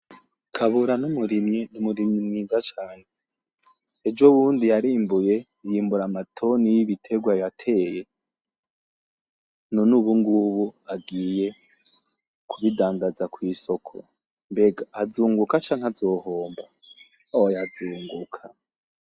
Kabura n’umurimyi umurimyi mwiza cane. Ejo bundi yarimbuye yimbura amatoni yibitegwa yateye none ubungubu agiye kubidandaza kw’isoko, mbega azunguka canke azohomba?? oya azunguka.